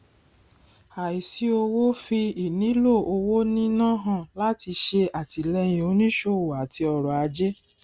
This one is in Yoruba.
àìsí owó fi ìnílò owó níná hàn láti ṣe àtìléyìn onísòwò àti ọrọ ajé